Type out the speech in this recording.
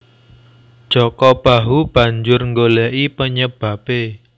Jaka Bahu banjur nggoleki penyebabe